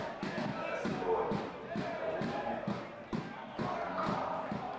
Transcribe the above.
asibone wawakhupha azingqanda